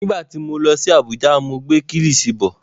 Nígbà tí mo lọ sí Abuja ni mo gbé Kílìṣí bọ̀.